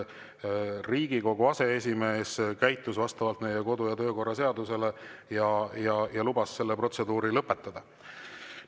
Riigikogu aseesimees käitus vastavalt meie kodu‑ ja töökorra seadusele ja lubas selle protseduuri lõpetada.